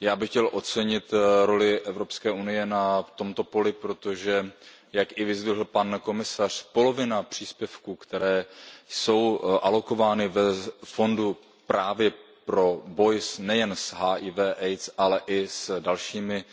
Já bych chtěl ocenit roli Evropské unie na tomto poli, protože, jak i vyzdvihl pan komisař, polovina příspěvků, které jsou alokovány ve fondu právě pro boj nejen s HIV AIDS, ale i s dalšími